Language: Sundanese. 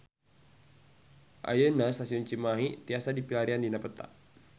Ayeuna Stasiun Cimahi tiasa dipilarian dina peta